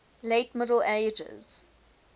late middle ages